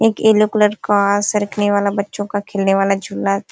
एक yellow colour का सरकने वाला बच्चों का खेलने वाला झूला --